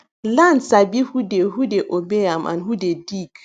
land sabi who dey who dey obey am and who dey dig